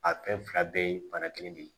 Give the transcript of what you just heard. A fɛn fila bɛɛ ye bana kelen de ye